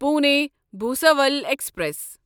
Pune Bhusawal express